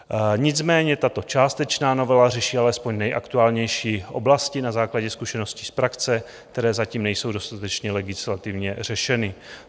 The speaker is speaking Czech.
Nicméně tato částečná novela řeší alespoň nejaktuálnější oblasti na základě zkušeností z praxe, které zatím nejsou dostatečně legislativně řešeny.